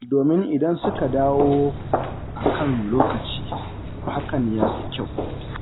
Domin idan suka dawo a kan lokaci, hakan ya fi kyau.